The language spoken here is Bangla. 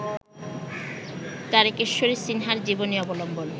তারকেশ্বরী সিনহার জীবনী অবলম্বন